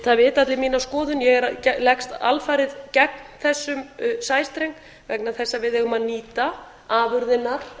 það vita allir mína skoðun ég leggst alfarið gegn þessum sæstreng vegna þess að við eigum að nýta afurðirnar